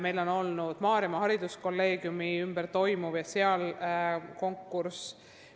Meil on olnud probleeme Maarjamaa Hariduskolleegiumiga, kus toimus ka konkurss.